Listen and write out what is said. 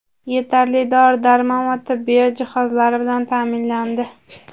yetarli dori-darmon va tibbiyot jihozlari bilan ta’minlandi.